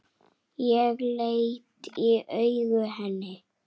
Ég svara dræmt.